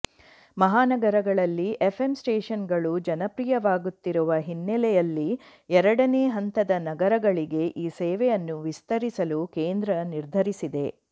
ಮಹಾನಗರಗಳಲ್ಲಿ FM station ಗಳು ಜನಪ್ರಿಯವಾಗುತ್ತಿರುವ ಹಿನ್ನೆಲೆಯಲ್ಲಿ ಎರಡನೇ ಹಂತದ ನಗರಗಳಿಗೆ ಈ ಸೇವೆಯನ್ನು ವಿಸ್ತರಿಸಲು ಕೇಂದ್ರ ನಿರ್ಧರಿಸಿದೆ